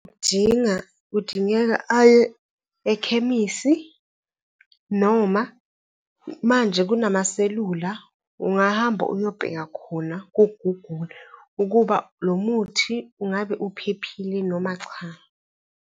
Kudinga, kudingeka aye ekhemisi. Noma manje kunamaselula, ungahamba uyobheka khona ku-Google ukuba, lo muthi ungabe uphephile noma cha.